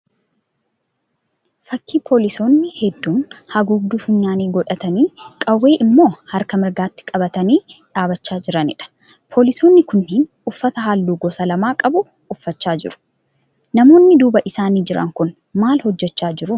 Fakkii poolisoonni hedduun haguugduu funyaanii godhatanii qawwee immoo harka mirgaatti qabatanii dhaabbachaa jiraniidha. Poolisoonni kunniin uffata halluu gosa lama qabu uffachaa jiru. Namoonni duuba isaanii jiran kun maal hojjechaa jiru?